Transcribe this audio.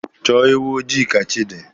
Chọọ ewu ojii ka chi dị!